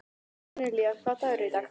Kornelía, hvaða dagur er í dag?